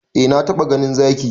Eh na taba ganin Zaki.